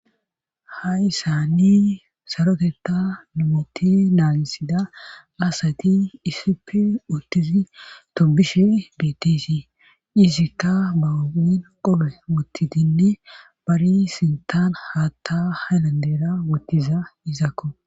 Ha issani saroteta numoti naanisida asati isipe uttizi tombishe bitisi cizikka baain qole wutti dinni bari sintaan haatta halandera wottiza izakko.